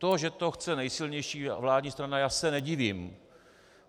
To, že to chce nejsilnější vládní strana - já se nedivím.